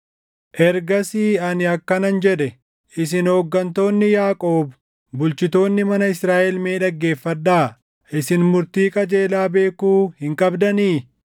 Ergasii ani akkanan jedhe; “Isin hooggantoonni Yaaqoob, bulchitoonni mana Israaʼel mee dhaggeeffadhaa. Isin murtii qajeelaa beekuu hin qabdanii?